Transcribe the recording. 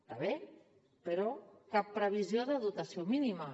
està bé però cap previsió de dotació mínima